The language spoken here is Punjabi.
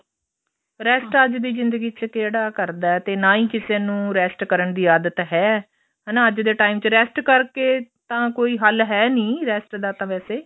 rest ਅੱਜ ਦੀ ਜਿੰਦਗੀ ਚ ਕਿਹੜਾ ਕਰਦਾ ਤੇ ਨਾ ਹੀ ਕਿਸੇ ਨੂੰ rest ਕਰਨ ਦੀ ਆਦਤ ਹੈ ਹਨਾ ਅੱਜ ਦੇ time ਚ rest ਕਰਕੇ ਤਾਂ ਕੋਈ ਹੱਲ ਹੈ ਨੀ rest ਦਾ ਤਾਂ ਵੈਸੇ